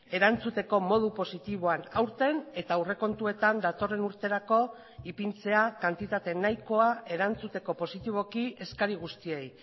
erantzuteko modu positiboan aurten eta aurrekontuetan datorren urterako ipintzea kantitate nahikoa erantzuteko positiboki eskari guztiei